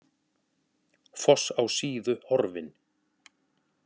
Foss á Síðu horfinn